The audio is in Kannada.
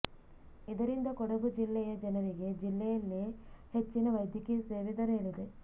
ಇದರಿಂದ ಕೊಡಗು ಜಿಲ್ಲೆಯ ಜನರಿಗೆ ಜಿಲ್ಲೆಯಲ್ಲೇ ಹೆಚ್ಚಿನ ವೈದ್ಯಕೀಯ ಸೇವೆ ದೊರೆಯಲಿದೆ